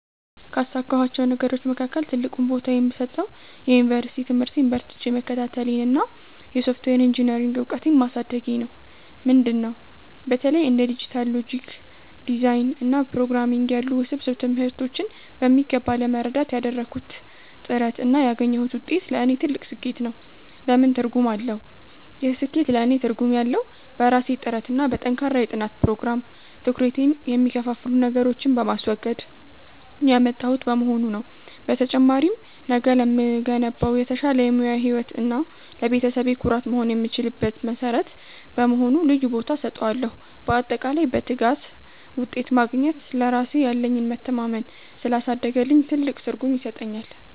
ካሳካኋቸው ነገሮች መካከል ትልቁን ቦታ የምሰጠው የዩኒቨርሲቲ ትምህርቴን በርትቼ መከታተሌንና የሶፍትዌር ኢንጂኔሪንግ እውቀቴን ማሳደጌን ነው። ምንድን ነው? በተለይ እንደ ዲጂታል ሎጂክ ዲዛይን እና ፕሮግራምንግ ያሉ ውስብስብ ትምህርቶችን በሚገባ ለመረዳት ያደረግኩት ጥረት እና ያገኘሁት ውጤት ለእኔ ትልቅ ስኬት ነው። ለምን ትርጉም አለው? ይህ ስኬት ለእኔ ትርጉም ያለው፣ በራሴ ጥረትና በጠንካራ የጥናት ፕሮግራም (ትኩረቴን የሚከፋፍሉ ነገሮችን በማስወገድ) ያመጣሁት በመሆኑ ነው። በተጨማሪም፣ ነገ ለምገነባው የተሻለ የሙያ ህይወት እና ለቤተሰቤ ኩራት መሆን የምችልበት መሠረት በመሆኑ ልዩ ቦታ እሰጠዋለሁ። ባጠቃላይ፣ በትጋት ውጤት ማግኘት ለራሴ ያለኝን መተማመን ስላሳደገልኝ ትልቅ ትርጉም ይሰጠኛል።